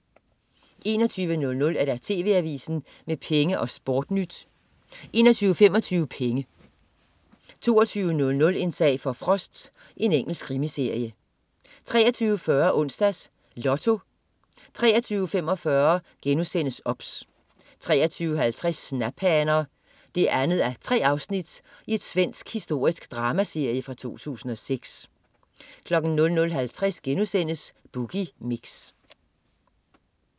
21.00 TV AVISEN med Penge og SportNyt 21.25 Penge 22.00 En sag for Frost. Engelsk krimiserie 23.40 Onsdags Lotto 23.45 OBS* 23.50 Snaphaner 2:3. Svensk historisk dramaserie fra 2006 00.50 Boogie Mix*